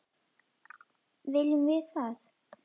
Viljum við það?